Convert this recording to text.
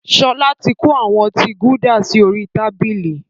Sọlá tí kó àwọn ọtí Gulder sì orí tábìlì